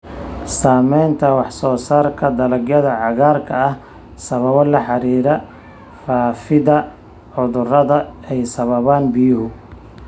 Saamaynta wax-soo-saarka dalagyada cagaarka ah sababo la xiriira faafidda cudurrada ay sababaan biyuhu.